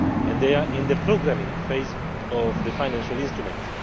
They are in the programming phase of the financial instruments.